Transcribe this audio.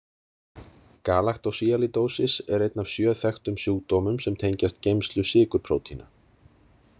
Galaktósíalídósis er einn af sjö þekktum sjúkdómum sem tengjast geymslu sykurprótína.